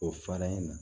O fara in na